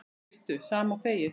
Veistu, sama og þegið.